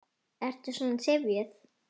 Ertu svona syfjuð?